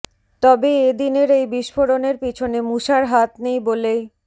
তবে এ দিনের এই বিস্ফোরণের পিছনে মুসার হাত নেই বলেই